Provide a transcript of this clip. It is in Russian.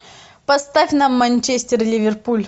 поставь нам манчестер ливерпуль